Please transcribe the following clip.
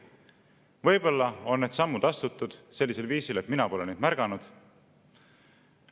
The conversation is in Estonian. Võib-olla on need sammud astutud sellisel viisil, et mina pole neid märganud.